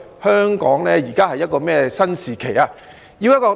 香港現時處於一個怎樣的新時期呢？